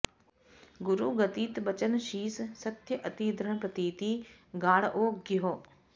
गुरु गदित बचन सिष सत्य अति दृढ प्रतीति गाढओ गह्यो